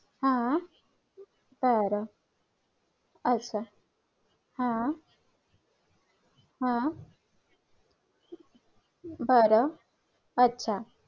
चीनची लोकसंख्या ही आता कमी कमी होत आहे आणि लोकसंख्या जर कमी झाली लोकसंख्या जर नियमाने कमी झाली तर त्याचे काही तोटे पण आहेत लोकसंख्या कमी झाल्यामुळे भारताच्या अर्थव्यवस्थेवर परिणाम होऊ शकतो.